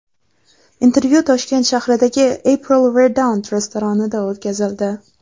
Intervyu Toshkent shahridagi April Verdant restoranida o‘tkazildi.